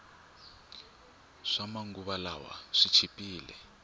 swama nguva lawa swi chipile